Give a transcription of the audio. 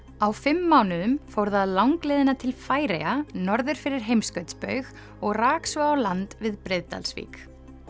á fimm mánuðum fór það langleiðina til Færeyja norður fyrir heimskautsbaug og rak svo á land við Breiðdalsvík